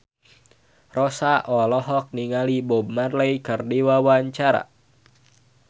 Rossa olohok ningali Bob Marley keur diwawancara